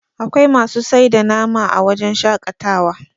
akwai masu sai da nam a wajen shaƙatawa